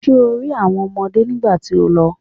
Ṣé o rí àwọn ọmọdé nígbà tí o lọ?